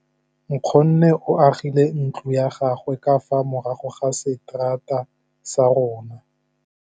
Nkgonne o agile ntlo ya gagwe ka fa morago ga seterata sa rona.